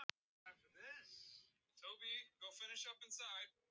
Var það ekki þetta sem hafði komið fyrir hann sjálfan?